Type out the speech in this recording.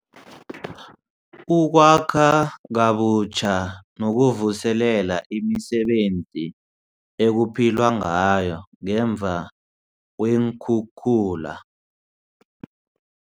Ukwakha Kabutjha Nokuvuselela Imisebenzi Ekuphilwa Ngayo Ngemva Kweenkhukhula